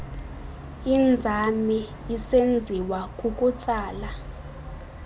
inzame isenziwa kukutsala